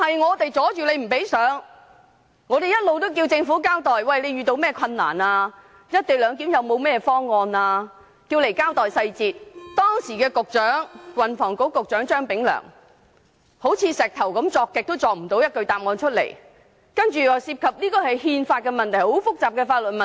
我們一直要求政府交代"一地兩檢"方案的細節。但當時的運輸及房屋局局長張炳良堅拒提供答案，只是說這涉及憲法和很複雜的法律問題。